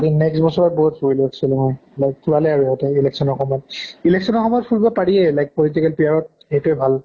কি next বছৰত বহুত ফুৰিলো actually মই election ৰ সময়ত, election ৰ সময়ত ফুৰিব পাৰিয়ে like political এইটোয়ে ভাল।